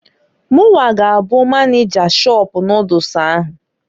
Munwa g'abụ maneja shọpụ noodles ahụ.